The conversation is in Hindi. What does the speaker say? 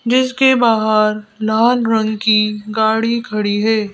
जिसके बाहर लाल रंग की गाड़ी खड़ी है।